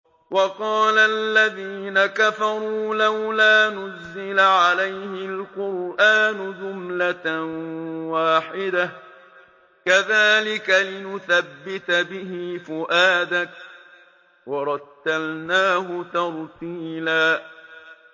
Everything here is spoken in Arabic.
وَقَالَ الَّذِينَ كَفَرُوا لَوْلَا نُزِّلَ عَلَيْهِ الْقُرْآنُ جُمْلَةً وَاحِدَةً ۚ كَذَٰلِكَ لِنُثَبِّتَ بِهِ فُؤَادَكَ ۖ وَرَتَّلْنَاهُ تَرْتِيلًا